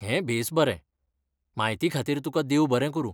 हें बेस बरें. म्हायतीखातीर तुका देव बरें करूं.